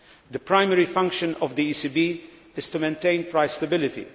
The primary function of the ECB is to maintain price stability.